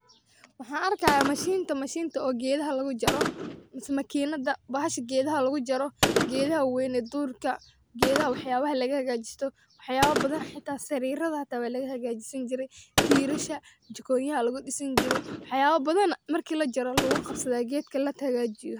Waxan arkaya mashinta mise makinada gedaha lugujaro gedaha wax yabaha lagaladagajisto oo ssarirta tirasha wax yabo badam ayay gedaha lagahagajista.